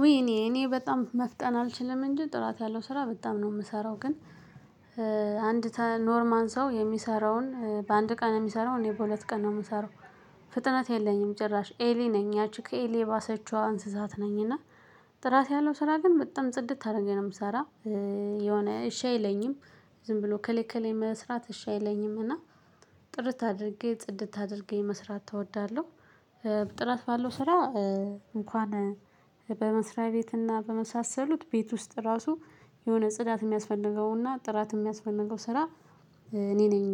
ዉይ እኔ እኔ በጣም መፍጠን አልችልም እንጂ ጥራት ያለው ስራ በጣም ነው የምሰራው ግን አንድ ኖርማል ሰው የሚሰራውን በአንድ ቀን የሚሰራውን እኔ በሁለት ቀን ነው የምሰራው። ፍጥነት የለኝም ጭራሽ ኤሊ ነኝ ያቺ ከኤሊ የባሰችዋ እንስሳት ነኝ። እና ጥራት ያለው ስራ ግን በጣም ጽድት አድርጌ ነው የምሰራ። የሆነ እሺ አይለኝም ዝም ብሎ ከላይ ከላይ መስራት እሺ አይለኝም እና ጥርት አድርጌ ጽድት አድርጌ መስራት እወዳለሁ። ጥራት ባለው ስራ እንኳን በመስሪያ ቤት እና በመሳሰሉት ቤት ውስጥ ራሱ የሆነ ጽዳት የሚያስፈልገው እና ጥራት የሚያስፈልገው ስራ እኔ ነኝ።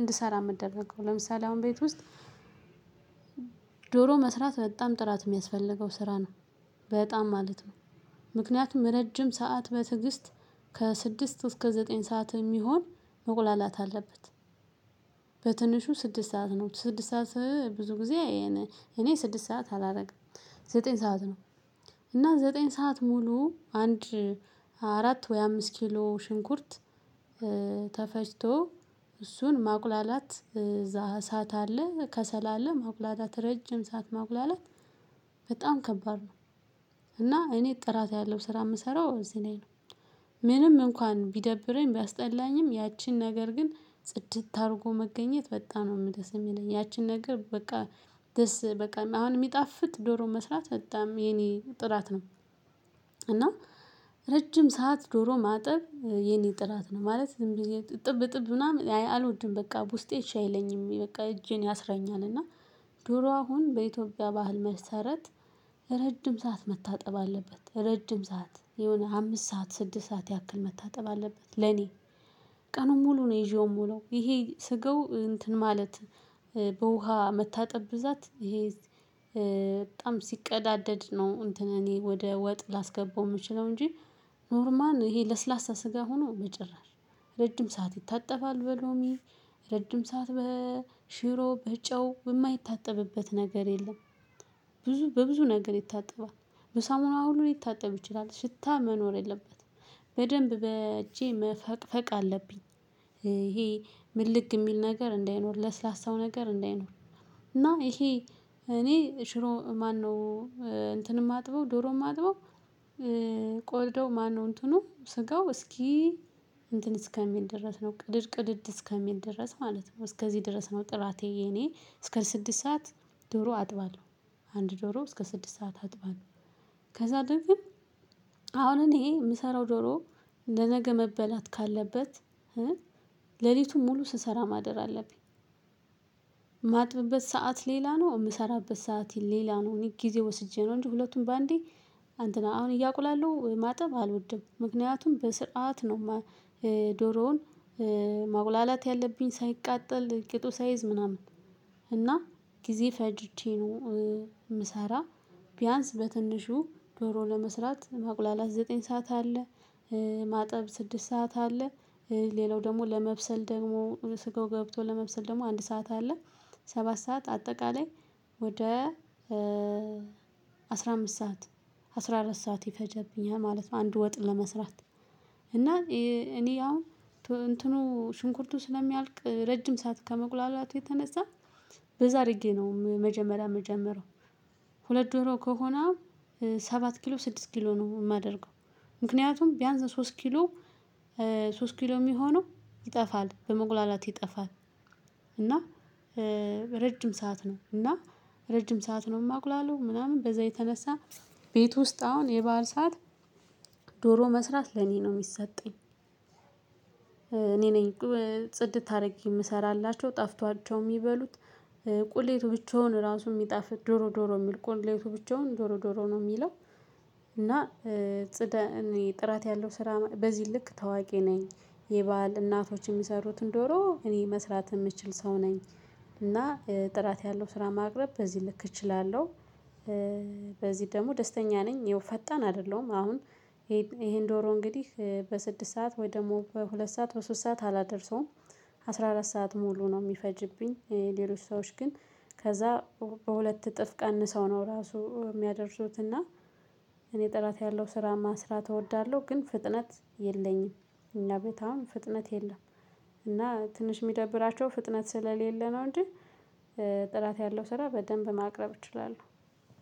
እንድሰራ የምደረገው ለምሳሌ አሁን ቤት ውስጥ ዶሮ መስራት በጣም ጥራት የሚያስፈልገው ስራ ነው። በጣም ማለት ነው ምክንያቱም እረጅም ሰዓት በትዕግስት ከስድስት እስከ ዘጠኝ ሰዓት የሚሆን መቁላላት አለበት። በትንሹ ስድስት ሰዓት ነው ስድስት ሰዓት ብዙ ጊዜ እኔ ስድስት ሰዓት አላረግም ዘጠኝ ሰዓት ነው። እና ዘጠኝ ሰዓት ሙሉ አንድ አራት ወይም አምስት ኪሎ ሙሉ ሽንኩርት ተፈጭቶ እሱን ማቁላላት እዛ እሳት አለ ከሰል አለ ማቁላላት እረጅም ሰዓት ማቁላላት በጣም ከባድ ነው። እና እኔ ጥራት ያለው ስራ ምሰራው እዚህ ላይ ነው። ምንም እንኳን ቢደብረኝ ቢያስጠላኝም ያቺን ነገር ግን ጽድት አድርጎ መገኘት በጣም ነው ደስ የሚለኝ ያቺን ነገር በቃ ደስ በቃ አሁን የሚጣፍጥ ዶሮ መስራት በጣም የኔ ጥራት ነው። እና እረጅም ሰዓት ዶሮ ማጠብ የኔ ጥራት ነው ማለት ዝም ብዬ እጥብ እጥብ ምናምን አልወድም በቃ ውስጤ እሺ አይለኝም በቃ እጄን ያስረኛል። እና ዶሮ አሁን በኢትዮጵያ ባህል መሰረት እረጅም ሰዓት መታጠብ አለበት እረጅም ሰዓት የሆነ አምስት ሰዓት ስድስት ሰዓት ያክል መታጠብ አለበት። ለኔ ቀኑን ሙሉ ነው ይዤው የምውለው ይሄ ስጋው እንትን ማለት በውሃ መታጠብ ብዛት ይሄ በጣም ሲቀዳደድ ነው እንትን እኔ ወደ ወጥ ላስገባው የምችልው እንጂ። ኖርማል ይሄ ለስላሳ ስጋ ሆኖ በጭራሽ እረጅም ሰዓት ይታጠባል በሎሚ እረጅም ሰዓት በሽሮ በጨው የማይታጠብበት ነገር የለም። ብዙ በብዙ ነገር ይታጠባል በሳሙና ሁሉ ሊታጠብ ይችላል ሽታ መኖር የለበትም በደንብ በእጄ መፈቅፈቅ አለብኝ። ይሄ ምልግ የሚል ነገር እንዳይኖር ለስላሳው ነገር እንዳይኖር። እና ይሄ እኔ ሽሮ ማነው እንትን የማጥበው ዶሮ የማጥበው ቆዳው ማነው እንትኑ ስጋው እስኪ እንትን እስከሚል ድረስ ነው ቅድድ እስከሚል ድረስ ማለት ነው እስክዚህ ድረስ ነው። ጥራቴ የኔ እስከ ስድስት ሰዓት ዶሮ አጥባለው አንድ ዶሮ እስከ ስድስት ሰዓት አጥባለው። ከዛ ድብን አሁን እኔ እምሰራው ዶሮ ለነገ መበላት ካለበት እ ለሊቱን ሙሉ ስሰራ ማደር አለብኝ። እማጥብበት ሰዓት ሌላ ነው የምሰራበት ሰዓት ሌላ ነው እኔ ጊዜ ወስጄ ነው እንጂ ሁለቱን በአንዴ እንትን አሁን እያቁላላው ማጠብ አልወድም ምክንያቱም በስርዓት ነው። ዶሮውን ማቁላላት ያለብኝ ሳይቃጠል ቂጡ ሳይዝ ምናምን ነው። እና ጊዜ ፈጅቼ ነው የምሰራ ቢያንስ በትንሹ ዶሮ ለመስራት ማቁላላት ዘጠኝ ሰዓት አለ። ማጠብ ስድስት ሰዓት አለ ሌላው ደሞ ለመብሰል ደሞ ስጋው ገብቶ ለመብሰል ደሞ አንድ ሰዓት አለ። ሰባት ሰዓት አጠቃላይ ወደ አስራ አምስት ሰዓት አስራ አራት ሰዓት ይፈጅብኛል ማለት ነው። አንድ ወጥ ለመስራት እና እኔ አሁን እንትኑ ሽንኩርቱ ስለሚያልቅ ከመቁላላቱ የተነሳ በዛ አድርጌ ነው መጀመሪያ የምጀምረው። ሁለት ዶሮ ከሆነ ሰባት ኪሎ ስድስት ኪሎ ነው የማደርገው። ምክንያቱም ቢያንስ ሶስት ኪሎ እ ሶስት ኪሎ የሚሆነው በመቁላላት ይጠፋል። እና እ እረጅም ሰዓት ነው እና እረጅም ሰዓት ነው የማቁላላው ምናምን በዛ የተነሳ ቤቱ ውስጥ አሁን የበአል ሰዓት ዶሮ መስራት ለኔ ነው የሚሰጠኝ። እኔ ነኝ ጽድት አድርጌ የምሰራላቸው ጣፍጧቸው የሚበሉት ቁሌቱ ብቻውን እራሱ የሚጣፍጥ ዶሮ ዶሮ የሚል ቁሌቱ ብቻዉን ዶሮ ዶሮ ነው የሚለው። እና እ ጥራት ያለው ስራ በዚህ ልክ ታዋቂ ነኝ። የበአል እናቶች የሚሰሩትን ዶሮ እኔ መስራት የምችል ሰው ነኝ። እና ጥራት ያለው ስራ በዚህ ልክ ማቅረብ እችላለው። በዚህ ደሞ ደስተኛ ነኝ ያው ፈጣን አይደለሁም። አሁን ይሄን ዶሮ እንግዲህ በስድስት ሰዓት ወይም ደሞ በሁለት ሰዓት በሶስት ሰዓት አላደርሰውም። አስራ አራት ሰዓት ሙሉ ነው የሚፈጅብኝ ሌሎች ሰዎች ግን ከዛ በሁለት እጥፍ ቀንሰው ነው እራሱ የሚያደርሱት እና እኔ ጥራት ያለው ስራ መስራት እወዳለው ግን ፍጥነት የለኝም። እኛ ቤት አሁን ፍጥነት የለም። እና ትንሽ የሚደብራቸው ፍጥነት ስለሌለ ነው እንጂ እ ጥራት ያለው ስራ በደንብ ማቅረብ እችላለው።